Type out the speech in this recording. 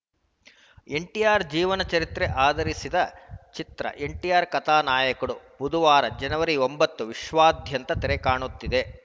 ಎನ್‌ಟಿಆರ್‌ ಜೀವನ ಚರಿತ್ರೆ ಆಧರಿಸಿದ ಚಿತ್ರ ಎನ್‌ಟಿಆರ್‌ ಕಥಾ ನಾಯಕುಡು ಬುಧವಾರ ಜನವರಿ ಒಂಬತ್ತು ವಿಶ್ವದಾದ್ಯಂತ ತೆರೆ ಕಾಣುತ್ತಿದೆ